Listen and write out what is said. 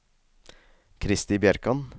Kristi Bjerkan